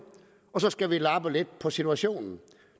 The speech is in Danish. og så skal vi lappe lidt på situationen